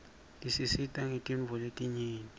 tisisita ngetintfo letinyeti